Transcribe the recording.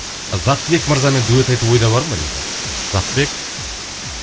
заттыбек мырзамен дуэт айту ойда бар ма дейді заттыбек